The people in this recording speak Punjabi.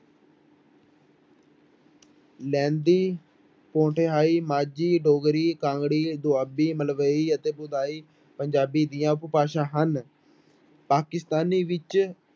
ਲਹਿੰਦੀ, ਪੋਠੋਹਾਰੀ ਮਾਝੀ, ਡੋਗਰੀ, ਕਾਂਗੜੀ, ਦੁਆਬੀ, ਮਲਵਈ ਅਤੇ ਪੰਜਾਬੀ ਦੀਆਂ ਉਪਭਾਸ਼ਾ ਹਨ, ਪਾਕਿਸਤਾਨੀ ਵਿੱਚ